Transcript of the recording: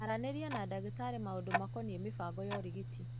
Aranĩria na ndagĩtarĩ maũndu makonie mibango ya ũrigiti.